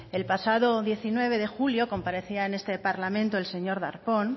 el pasado diecinueve de julio comparecía en este parlamento el señor darpón